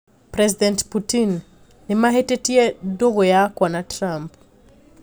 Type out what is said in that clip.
President Putin:Nimatitie ndũgũ yakwa na Trump